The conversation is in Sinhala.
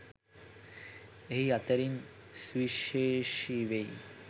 ඒ අතරින් සුවිශේෂී වෙයි.